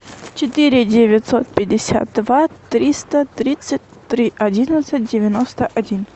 четыре девятьсот пятьдесят два триста тридцать три одиннадцать девяносто один